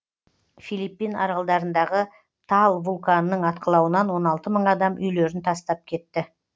филиппин аралдарындағы таал вулканының атқылауынан он алты мың адам үйлерін тастап кетті